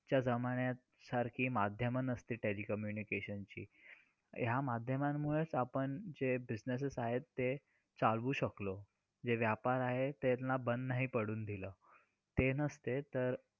खरंतर तिले शिवाय आपले जीवन दिवा असून ज्योत नसल्यासारखे आहे.